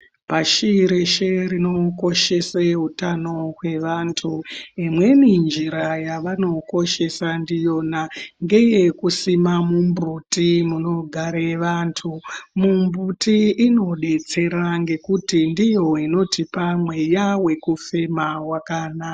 Pashi reshe rinokoshese utano hwevantu. Imweni njira yevanokoshesa ndiyona ngeyekusima mumbuti munogare vantu. Mumbuti inodetsera ngekuti ndiyo inotipa mweya wekufema wakanaka.